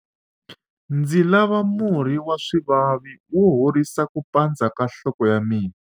ndzi lava murhi wa swivavi wo horisa ku pandza ka nhloko ya mina